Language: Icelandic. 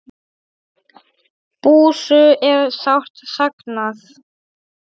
Bússu er sárt saknað.